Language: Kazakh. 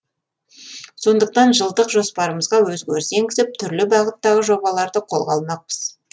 сондықтан жылдық жоспарымызға өзгеріс енгізіп түрлі бағыттағы жобаларды қолға алмақпыз